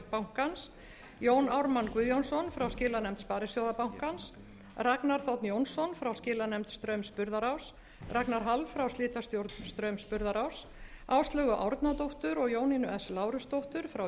bankans jón ármann guðjónsson frá skilanefnd sparisjóðabankans ragnar þ jónasson frá skilanefnd straums burðaráss ragnar hall frá slitastjórn straums burðaráss áslaugu árnadóttur og jónínu s lárusdóttur frá